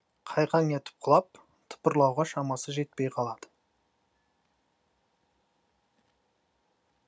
қайқаң етіп құлап тыпырлауға шамасы жетпей қалады